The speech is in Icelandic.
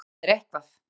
Það er eitthvað.